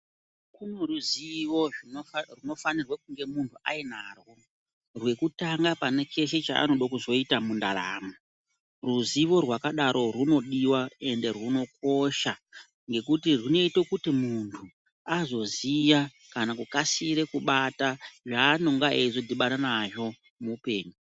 Kune ruzivo rwunofanirwe kunge munhu ainarwo rwekutana pane chese chanode kuzoita mundaramo. Ruzivo rwakadaro rwunodiwa ende rwunokosha ngekuti rwunoita kuti muntu azoziya kana kukasira kubara zvanenge eizodhibana nazvo muupenyu.